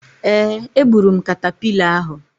Ee, egburu m katapila ahu.